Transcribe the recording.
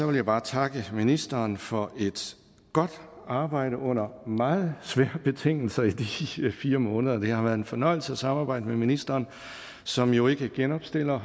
vil jeg bare takke ministeren for et godt arbejde under meget svære betingelser i de fire måneder det har været en fornøjelse at samarbejde med ministeren som jo ikke genopstiller